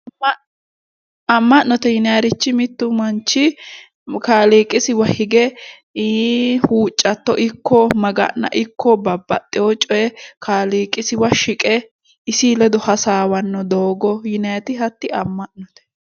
Amm'note yinaayiirichi mittu manchi kaaliiqisiwa hige huuccatto ikko maga'na ikko babbaxewo cooye kaaliiqisiwa shiqe isii ledo hasaawanno doogoti hatti amma'no.